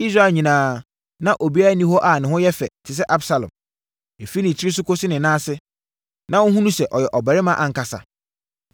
Israel nyinaa, na obiara nni hɔ a ne ho yɛ fɛ, te sɛ Absalom. Ɛfiri ne tiri so kɔsi ne nan ase, na wohunu sɛ ɔyɛ ɔbarima ankasa.